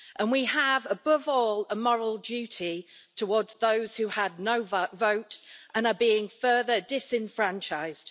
We have, above all, a moral duty towards those who had no vote and are being further disenfranchised.